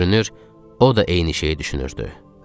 Görünür, o da eyni şeyi düşünürdü.